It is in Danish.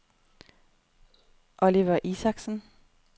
Oliver Isaksen